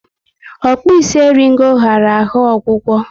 Okpi isi eringo ghara ahụ ọgwụgwọ